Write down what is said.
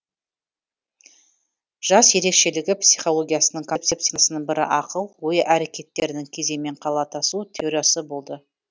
жас ерекшелігі психологиясының концепциясының бірі ақыл ой әрекеттерінің кезеңмен қалатасу теориясы болды